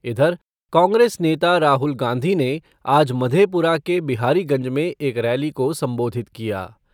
इधर, कांग्रेस नेता राहुल गांधी ने आज मधेपुरा के बिहारीगंज में एक रैली को संबोधित किया।